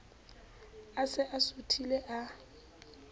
a se a suthile a